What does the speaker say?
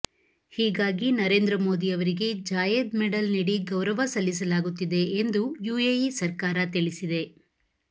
ಹೀಗಾಗಿ ನರೇಂದ್ರ ಮೋದಿ ಅವರಿಗೆ Zayed medal ನೀಡಿ ಗೌರವ ಸಲ್ಲಿಸಲಾಗುತ್ತಿದೆ ಎಂದು ಯುಎಇ ಸರ್ಕಾರ ತಿಳಿಸಿದೆ